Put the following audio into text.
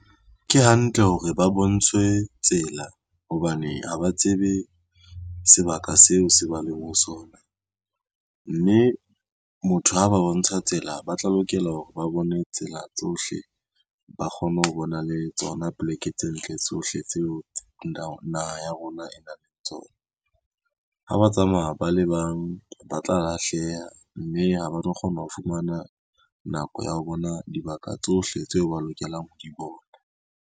Ke hantle hore ba bontshwe tsela hobane ha ba tsebe sebaka seo se ba leng ho sona, mme motho ha ba bontsha tsela ba tla lokela hore ba bone tsela tsohle, ba kgone ho bona le tsona poleke tse ntle tsohle tseo naha ya rona e nang le tsona. Ha ba tsamaya ba le bang ba tla lahleha, mme ha ba tlo kgona ho fumana nako ya ho bona dibaka tsohle tseo ba lokelang ho di bona.